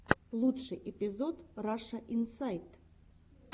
лучший эпизод раша инсайт